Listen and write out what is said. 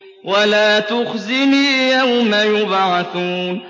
وَلَا تُخْزِنِي يَوْمَ يُبْعَثُونَ